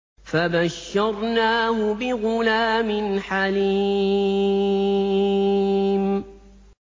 فَبَشَّرْنَاهُ بِغُلَامٍ حَلِيمٍ